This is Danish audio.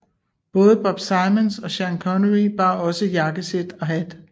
Både Bob Simmons og Sean Connery bar også jakkesæt og hat